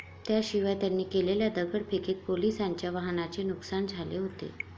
त्याशिवाय त्यांनी केलेल्या दगडफेकीत पोलिसांच्या वाहनांचे नुकसान झाले होते.